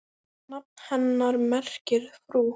Nafn hennar merkir frú.